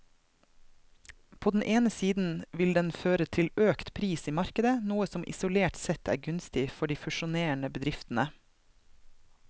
På den ene siden vil den føre til økt pris i markedet, noe som isolert sett er gunstig for de fusjonerende bedriftene.